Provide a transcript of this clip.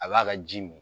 A b'a ka ji mi